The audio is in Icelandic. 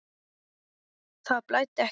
Það blæddi ekki mikið.